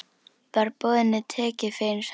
Var boðinu tekið fegins hendi.